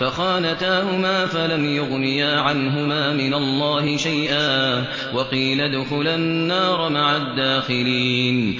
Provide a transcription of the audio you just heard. فَخَانَتَاهُمَا فَلَمْ يُغْنِيَا عَنْهُمَا مِنَ اللَّهِ شَيْئًا وَقِيلَ ادْخُلَا النَّارَ مَعَ الدَّاخِلِينَ